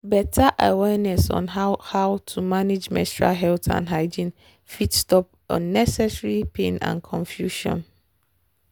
better awareness on how how to manage menstual health and hygiene fit stop unnecessary pain and confusion.